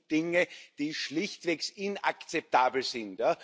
Das sind Dinge, die schlichtweg inakzeptabel sind.